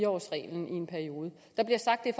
årsreglen i en periode der bliver sagt at